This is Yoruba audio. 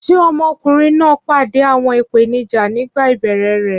Ṣé ọmọkùnrin náà pàdé àwọn ìpèníjà nígbà ìbẹ̀rẹ̀ rẹ̀?